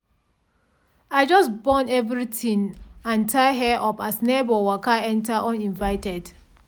i just bone everything and tie hair up as neighbour waka enter uninvited.